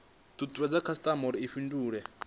tutuwedze khasitama uri i fhindule